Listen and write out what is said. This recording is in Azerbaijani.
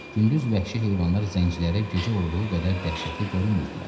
Gündüz vəhşi heyvanlar zəncilərə gecə olduğu qədər dəhşətli görünmürdülər.